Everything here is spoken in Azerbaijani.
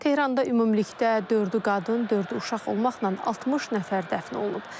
Tehranda ümumilikdə dördü qadın, dördü uşaq olmaqla 60 nəfər dəfn olunub.